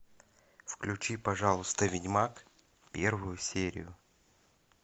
включи пожалуйста ведьмак первую серию